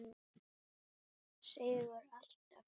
Seigur alltaf.